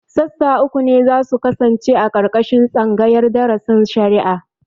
Sassa uku ne za su kasance a ƙarƙashin tsangayar darasin shari'a